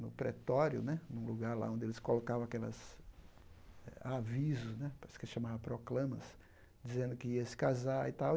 no pretório né, num lugar onde eles colocavam aquelas avisos né, parece que se chamava proclamas, dizendo que ia se casar e tal.